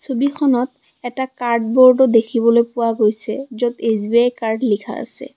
ছবিখনত এটা কাৰ্ড ব'ৰ্ডও দেখিবলৈ পোৱা গৈছে য'ত এছ_বি_আই কাৰ্ড লিখা আছে।